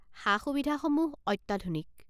সা সুবিধাসমূহ অত্যাধুনিক।